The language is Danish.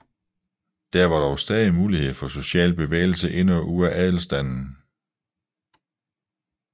Der var dog stadig mulighed for social bevægelse ind og ud af adelsstanden